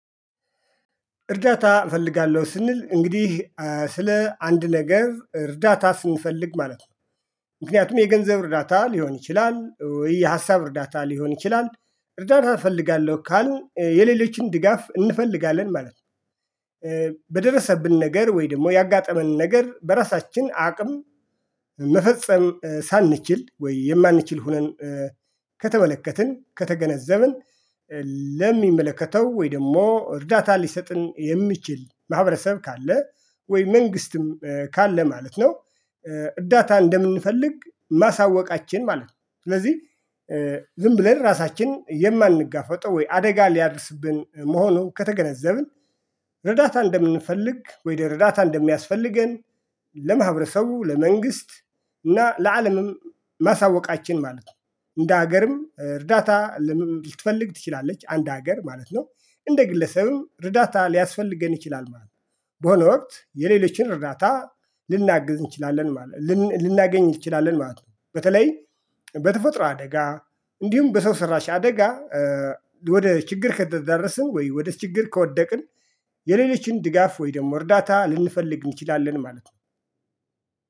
እርዳታ እፈልጋለሁ ስንል እንግዲህ ስለ አንድ ነገር እርዳታ ስንፈልግ ማለት ነው። ምክንያቱም የገንዘብ እርዳታ ሊሆን ይችላል። የሀሳብ እርዳታ ሊሆን ይችላል። እርዳታ እፈልጋለሁ ካልን የሌሎችን ድጋፍ እንፈልጋለን ማለት ነው። በደረሰብን ነገር ወይ ደግሞ ያጋጠመንን ነገር በራሳችን አቅም መፈጸም ሳንችል ወይ የማንችል ሆነን ከተመለከትን ከተገነዘብን። ለሚመለከተው ወይ ደግሞ እርዳታ ሊሰጥን የሚችል ማህበረሰብ ካለ ወይ መንግስትም ካለ ማለት ነው። እርዳታ እንደምንፈልግ ማሳወቃችን ማለት ነው። ስለዚህ ዝም ብለን ራሳችንን የማንጋፈጥ ወይ አደጋ ሊያድስብን መሆኑ ከተገነዘብን። እርዳታ እንደምንፈልግ ወይደር እርዳታ እንደሚያስፈልገን ለማህበረሰቡ ለመንግስት እና ለአለምም ማሳወቃችን ማለት ነው። እንደ ሀገርም እርዳታ ልትፈልግ ትችላለች አንድ ሀገር ማለት ነው። እንደ ግለሰብም እርዳታ ሊያስፈልገን ይችላል ማለት ነው። በሆነ ወቅት የሌሎችን እርዳታ ልናግዝ እንችላለን ማለት ነው። ልናገኝ ትችላለህ ማለት ነው። በተለይ በተፈጥሮ አደጋ እንዲሁም በሰው ሰራሽ አደጋ። ወደ ችግር ከተደረስን ወይ ወደ ችግር ከወደቅን። የሌሎችን ድጋፍ ወይ ደግሞ እርዳታ ልንፈልግ እንችላለን ማለት ነው።